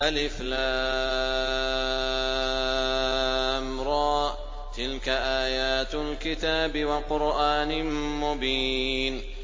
الر ۚ تِلْكَ آيَاتُ الْكِتَابِ وَقُرْآنٍ مُّبِينٍ